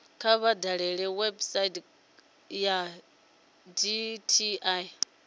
kha vha dalele website ya dti